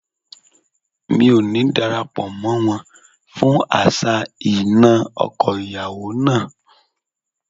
Mi ò ní dara pọ̀ mọ́ wọn fún àṣà ìnà ọkọ ìyàwó náà.